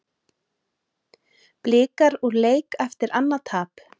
Blikar úr leik eftir annað tap